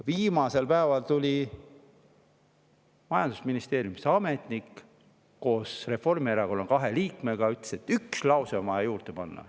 Viimasel päeval tuli majandusministeeriumisse ametnik, koos Reformierakonna kahe liikmega, kes ütles, et üks lause on vaja juurde panna.